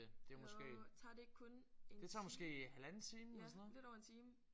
Jo tager det ikke kun en time? Ja lidt over en time